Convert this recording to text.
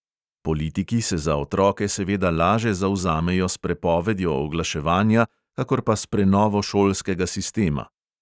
Politiki se za otroke seveda laže zavzamejo s prepovedjo oglaševanja kakor pa s prenovo šolskega sistema.